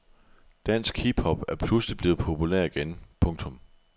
Dansk hip hop er pludselig blevet populær igen. punktum